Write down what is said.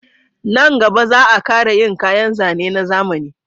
Nan gaba za a kara yin kayan zane na zamani